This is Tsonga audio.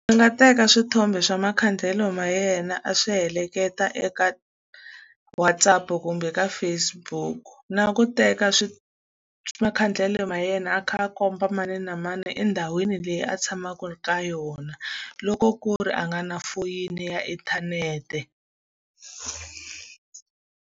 A nga teka swithombe swa makhandlele ma yena a swi heleketa eka WhatsApp-u kumbe ka Facebook-u. Na ku teka makhandlele ya yena a kha a komba mani na mani endhawini leyi a tshamaka ka yona, loko ku ri a nga na foyini ya inthanete.